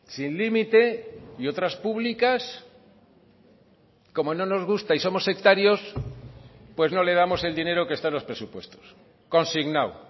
sin límite y otras públicas como no nos gusta y somos sectarios pues no le damos el dinero que está en los presupuestos consignado